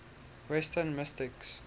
western mystics